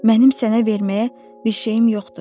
Mənim sənə verməyə bir şeyim yoxdur.